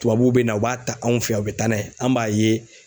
Tubabuw bɛ na u b'a ta anw fɛ yan u bɛ taa n'a ye an b'a ye